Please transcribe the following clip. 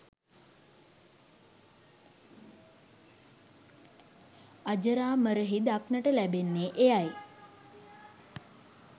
අජරාමරහි දක්නට ලැබෙන්නේ එයයි